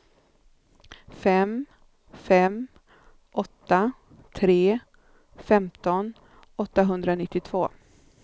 fem fem åtta tre femton åttahundranittiotvå